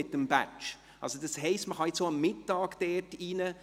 Man kann nun also auch über Mittag dort hineingehen.